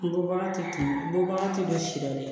N bɔbaga tɛ bɔ si la dɛ